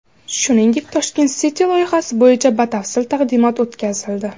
Shuningdek, Tashkent City loyihasi bo‘yicha batafsil taqdimot o‘tkazildi.